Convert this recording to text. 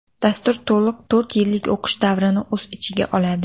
Dastur to‘liq to‘rt yillik o‘qish davrini o‘z ichiga oladi.